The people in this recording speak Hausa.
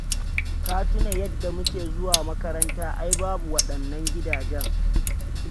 Ka tuna yadda muke zuwa makaranta ai babu waɗannan gidajen.